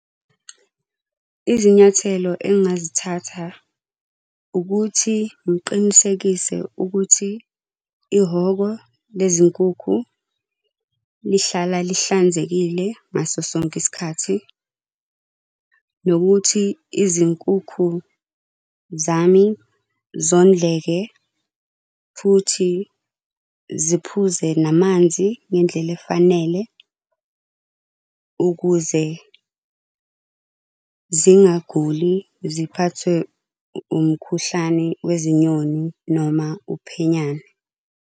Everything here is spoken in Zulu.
Izinyathelo engazithatha ukuthi ngiqinisekise ukuthi ihhoko lezi nkukhu lihlala lihlanzekile ngaso sonke isikhathi. Nokuthi izinkukhu zami zondleke, futhi ziphuze namanzi ngendlela efanele, ukuze zingaguli ziphathwe umkhuhlane wezinyoni noma uphenyane.